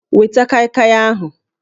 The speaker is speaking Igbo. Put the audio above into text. Weta kaịkaị ahụ!